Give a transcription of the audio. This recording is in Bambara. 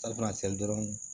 dɔrɔn